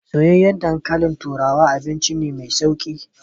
Soyyayen dankalin turawa abinci ne mai sauƙi.